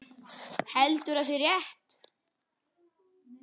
Heldur að sé rétt.